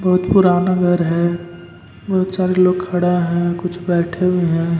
बहुत पुराना घर है बहुत सारे लोग खड़ा हैं कुछ बैठे हुए हैं।